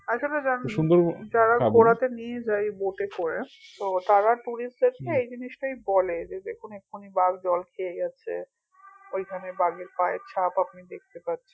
আসলে যা যারা ঘোরাতে নিয়ে যায় boat এ করে তো তারা tourist দেরকে এই জিনিসটাই বলে যে দেখুন এখনি বাঘ জল খেয়ে গেছে ঐখানে বাঘের পায়ের ছাপ আপনি দেখতে পাবেন